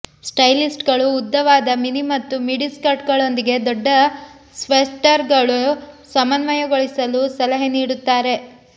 ಸ್ಟೈಲಿಸ್ಟ್ಗಳು ಉದ್ದವಾದ ಮಿನಿ ಮತ್ತು ಮಿಡಿ ಸ್ಕರ್ಟ್ಗಳೊಂದಿಗೆ ದೊಡ್ಡ ಸ್ವೆಟರ್ಗಳು ಸಮನ್ವಯಗೊಳಿಸಲು ಸಲಹೆ ನೀಡುತ್ತಾರೆ